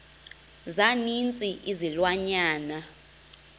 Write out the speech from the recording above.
za ninzi izilwanyana